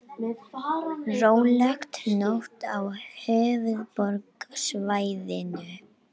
Róleg nótt á höfuðborgarsvæðinu